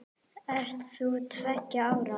Ert þú tveggja ára?